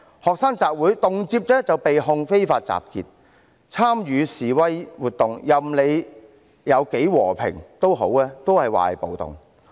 學生集會，動輒就被指控非法集結；參與示威活動，無論是多麼和平，也被說成是暴動。